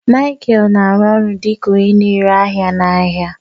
Michael na-arụ ọrụ dị ka onye na-ere ahịa n'ahịa.